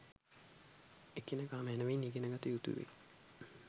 එකිනෙක මැනැවින් ඉගෙන ගත යුතු වෙයි